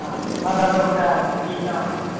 ਸਾਡਾ